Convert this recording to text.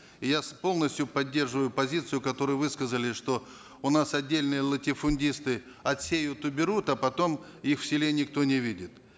я полностью поддерживаю позицию которую высказали что у нас отдельные латифундисты отсеют уберут а потом их в селе никто не видит